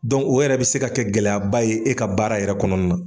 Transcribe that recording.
Dɔn o yɛrɛ bɛ se ka kɛ gɛlɛyaba ye e ka baara yɛrɛ kɔnɔna na.